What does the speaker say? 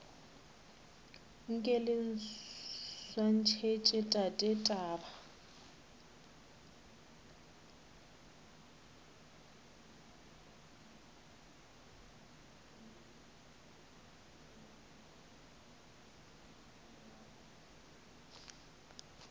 nke le swantšhetše tate taba